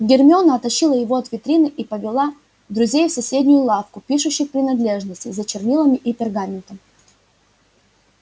гермиона оттащила его от витрины и повела друзей в соседнюю лавку пишущих принадлежностей за чернилами и пергаментом